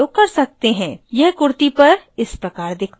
यह kurti पर इस प्रकार दिखता है